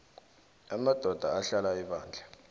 amadoda ahlala ebandla